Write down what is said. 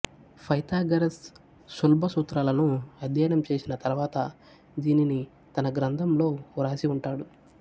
Pythagoras శుల్బ సూత్రాలను అధ్యయనం చేసిన తర్వాత దీనిని తన గ్రంథం లో వ్రాసి ఉంటాడు